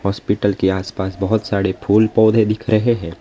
Hospital के आसपास बहुत सारे फूल पौधे दिख रहे हैं।